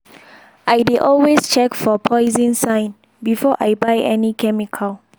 i dey always check for poison sign before i buy any chemical.